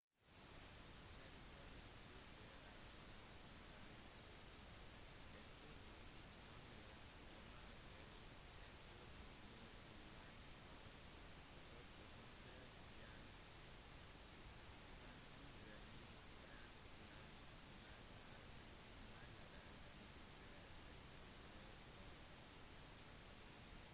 territoriet tyrkia er mer enn 1 600 kilometer 1000 mi langt og 800 km 500 mi bredt med en mer eller mindre rektangulær form